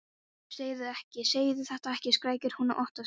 Ó, segðu þetta ekki, segðu þetta ekki, skrækir hún óttaslegin.